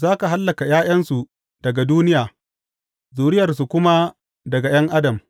Za ka hallaka ’ya’yansu daga duniya, zuriyarsu kuma daga ’yan adam.